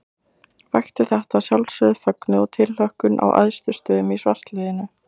Vakti þetta að sjálfsögðu fögnuð og tilhlökkun á æðstu stöðum í svartliðinu.